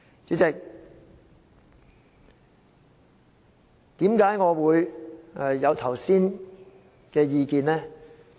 主席，為何我會提出剛才的意見呢？